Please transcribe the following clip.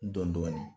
Dɔn dɔɔnin